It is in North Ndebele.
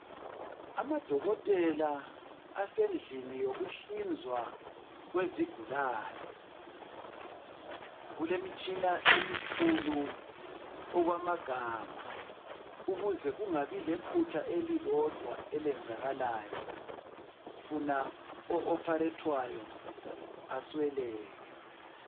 Amadokotela asendlini yokuhlinzwa kwezigulane kulemitshina emikhulu okwamagama ukuze kungabi lephutha elilodwa elenzakalayo funa o opharethwayo asweleke